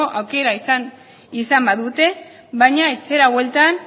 aukera izan badute baina etxera bueltan